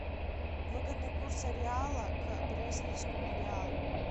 выгодный курс реала к бразильскому реалу